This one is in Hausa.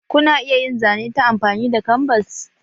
Ku na iya yin zane ta amfani da kanbas?